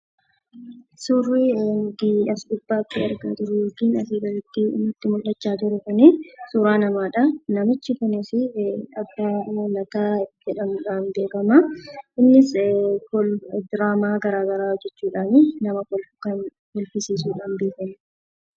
Suurri inni nuti as gubbaatti argaa jirru yookiin asii gaditti nutti mul'achaa jiru kun, suuraa namaadha. Namichi kunis 'Abbaa Lataa' jedhamuudhaan beekama. Innis diraamaa gara garaa hojjechuudhaan kan nama kolfisiisuudhaan beekamudha.